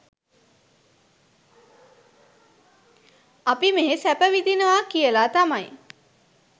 අපි මෙහෙ සැප විඳිනවා කියල තමයි